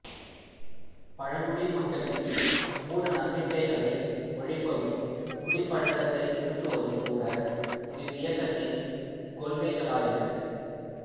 பழங்குடி மக்களின் மூடநம்பிக்கைகளை ஒழிப்பதும் குடிப்பழக்கத்தை நிறுத்துவதும் கூட இவ்வியக்கத்தின் கொள்கைகளாயின